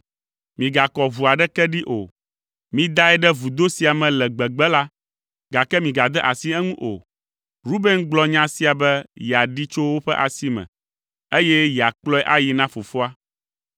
Migakɔ ʋu aɖeke ɖi o. Midae ɖe vudo sia me le gbegbe la, gake migade asi eŋu o.” Ruben gblɔ nya sia be yeaɖee tso woƒe asi me, eye yeakplɔe ayi na fofoa.